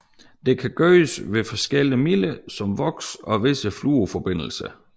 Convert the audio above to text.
Dette kan gøres ved forskellige midler som voks og visse fluorforbindelser